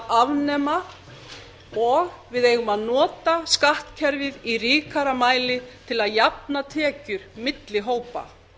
afnema og við eigum að nota skattkerfið í ríkara mæli til að jafna tekjur milli hópa